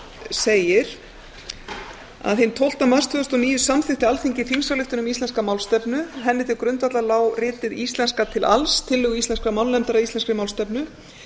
segir að hinn tólfta mars tvö þúsund og níu samþykkti alþingi þingsályktun um íslenska málstefnu henni til grundvallar lá ritið íslenska til alls tillögur íslenskrar málnefndar að íslenskri málstefnu